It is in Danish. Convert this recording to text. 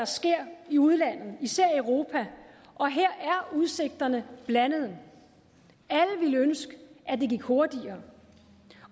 sker i udlandet især i europa og her er udsigterne blandede alle ville ønske at det gik hurtigere